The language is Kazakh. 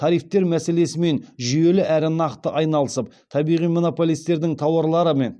тарифтер мәселесімен жүйелі әрі нақты айналысып табиғи монополистердің тауарларымен